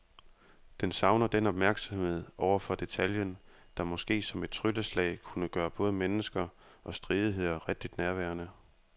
Den savner den opmærksomhed over for detaljen, der måske som et trylleslag kunne gøre både mennesker og stridigheder rigtig nærværende.